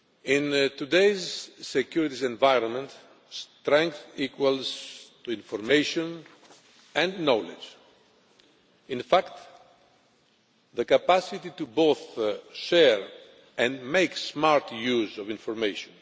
In today's security environment, strength equals information and knowledge. In fact, the capacity to both share and make smart use of information.